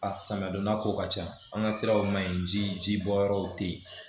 A samiya donda ko ka ca an ka siraw ma ɲi ji bɔ yɔrɔw te yen